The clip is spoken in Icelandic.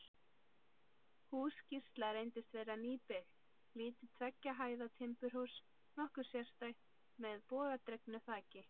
Hús Gísla reyndist vera nýbyggt, lítið tveggja hæða timburhús, nokkuð sérstætt, með bogadregnu þaki.